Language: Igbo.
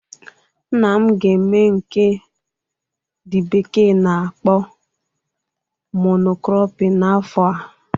Nna m ga eme nke the bekee na akpọ "mono cropping" n'afọ a